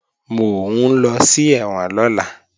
Mò ń lọ sí ẹ̀wọ̀n lọ́la